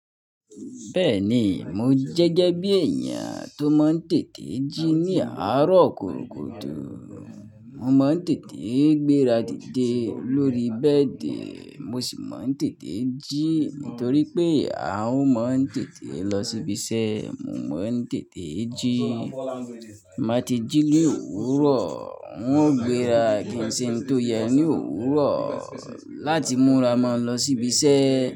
Bẹ́ẹ̀ni, mo jẹ́je bí èèyàn tó máa ń tètè jí ní àárọ̀ kúrò kúrò tó. Mo máa ń tètè gbéra didé lórí bẹ́ẹ̀dì, mo sì máa ń tètè jí nítorí pé à ń máa ń tètè lọ síbi iṣẹ́, mo máa ń tètè jí. Maa ti jí ní òwúrọ̀, wọ́n gbéra kí ń ṣe ń tó yẹ ní òwúrọ̀ láti múra ma lọ síbi iṣẹ́